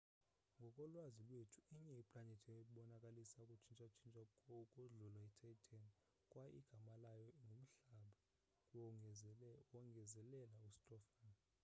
ngokolwazi lwethu inye iplanethi ebonakalisa ukutshintsha-tshintsha ukodlula ititan kwaye igama layo ngumhlaba wongezelela ustofan